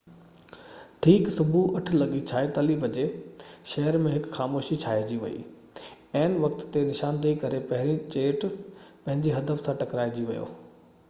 ٺيڪ صبح 8:46 بجي شهر ۾ هڪ خاموشي ڇائنجي وئي عين وقت تي نشاندهي ڪري پهريون جيٽ پنهنجي هدف سان ٽڪرائجي ويو